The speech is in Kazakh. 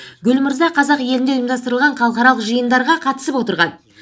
гүл мырза қазақ елінде ұйымдастырылған халықаралық жиындарға қатысып отырған